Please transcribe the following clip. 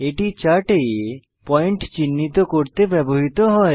এটি চার্টে পয়েন্ট চিহ্নিত করতে ব্যবহৃত হয়